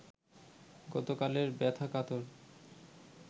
গতকালের ব্যথা-কাতর